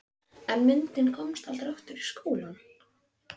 En myndin komst aldrei aftur í skólann.